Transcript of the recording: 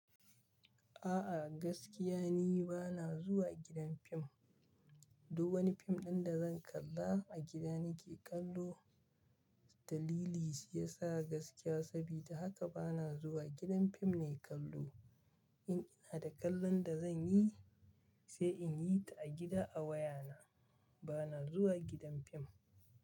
A'a gaskiya ni ba na zuwa gidan fim. Duk wani fim ɗin da zan kalla a gida nake kallo. Dalili shi ya sa gaskiya sabida haka ba na zuwa gidan fim na kallo. In ina da kallon da zan yi, sai in yi ta a gida a wayana. Ba na zuwa gidan fim.